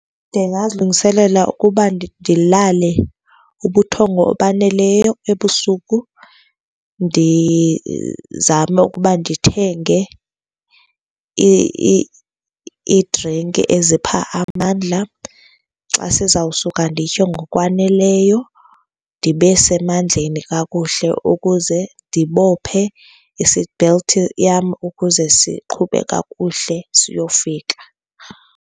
Ndingazilungiselela ukuba ndilale ubuthongo obaneleyo ebusuku, ndizame ukuba ndithenge iidrinki ezipha amandla. Xa sizawusuka nditye ngokwaneleyo ndibe semandleni kakuhle ukuze ndibophe i-seat belt yam ukuze siqhube kakuhle siyofika.